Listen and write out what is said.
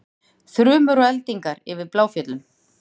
Þrumur og eldingar yfir Bláfjöllum